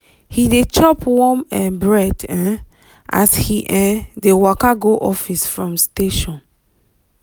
he dey chop warm um bread um as he um dey waka go office from station.